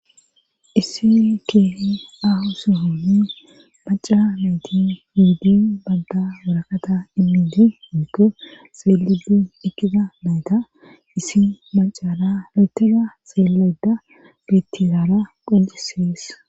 Issini keeh ahu sohoni maca natti ehidi banta waraqata imidi iniko xeelidu ekkida mayta isi macara letega xeelayda bettizaara qonccissees.